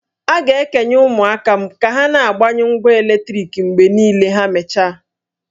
A ga-ekenye ụmụaka m ka ha na-agbanyụ ngwa eletriki mgbe niile ma ha mechaa